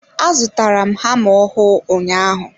A zụtara m hama ọhụụ ụnyaahụ.